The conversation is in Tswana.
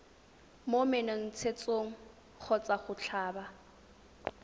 mo menontshetsong kgotsa go tlhaba